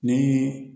Ni